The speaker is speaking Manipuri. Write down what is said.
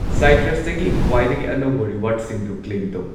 ꯁꯥꯢꯇ꯭ꯔꯁꯇꯒꯤ ꯈ꯭ꯋꯥꯏꯗꯒꯤ ꯑꯅꯧꯕ ꯔꯤꯋꯥꯔꯗꯁꯤꯡꯗꯨ ꯀ꯭ꯂꯦꯝ ꯇꯧ꯫